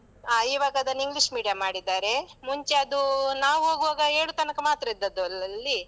ಹಾ ಇವಾಗ ಅದನ್ನು English medium ಮಾಡಿದ್ದಾರೆ. ಮುಂಚೆ ಅದು ನಾವು ಹೋಗುವಾಗ ಏಳು ತನಕ ಮಾತ್ರ ಇದ್ದಾದುದಲ್ಲಿ.